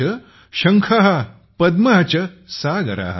च शंख पद्म च सागर ।